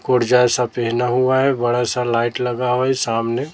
कूडजा जैसा पेहना हुआ है। बड़ा सा लाइट लगा हुआ है। सामने।